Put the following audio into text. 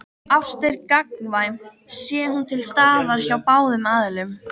Ást er gagnkvæm sé hún til staðar hjá báðum aðilum.